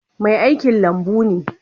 Mai aikin lambun ne.